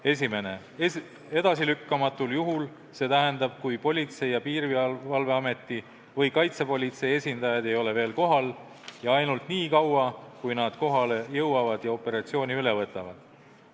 Esiteks, edasilükkamatul juhul, st juhul, kui Politsei- ja Piirivalveameti või Kaitsepolitseiameti esindajaid ei ole veel kohal, ja ainult nii kaua, kuni nad kohale jõuavad ja operatsiooni üle võtavad.